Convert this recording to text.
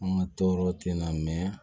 An ka tɔɔrɔ tɛ na mɛn